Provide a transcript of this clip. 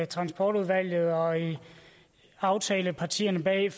transportudvalget og i aftalepartierne bag